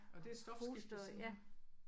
Og det er stofskifte simpelthen?